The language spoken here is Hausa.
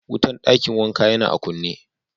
Wutan dakin wanka ya na a kune.